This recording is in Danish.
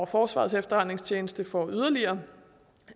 forsvarets efterretningstjeneste får yderligere